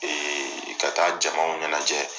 Ee ka taa jamaw ɲanajɛ.